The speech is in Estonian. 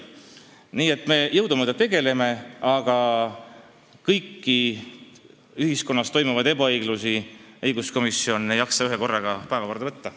Nii et me jõudumööda tegutseme, aga kogu ühiskonnas teadaolevat ebaõiglust ei jaksa õiguskomisjon ühekorraga päevakorda võtta.